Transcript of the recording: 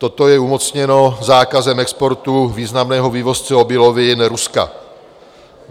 Toto je umocněno zákazem exportu významného vývozce obilovin Ruska.